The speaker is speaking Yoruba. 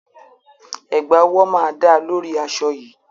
Ẹ̀gbá ọwọ́ máa dáa lórí aṣọ yìí.